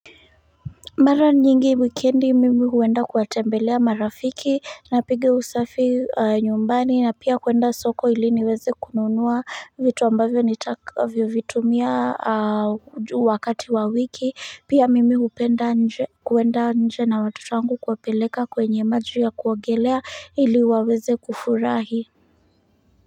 Mara nyingi wikendi mimi huenda kuwatembelea marafiki napiga usafi nyumbani na pia kuenda soko ili niweze kununuwa vitu ambavyo nitakavyo vitumia wakati wa wiki pia mimi hupenda nje kuenda nje na watoto wangu kuwapeleka kwenye maji ya kuogelea ili waweze kufurahi.